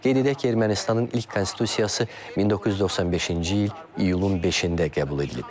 Qeyd edək ki, Ermənistanın ilk konstitusiyası 1995-ci il iyulun 5-də qəbul edilib.